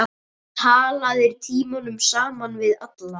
Talaðir tímunum saman við alla.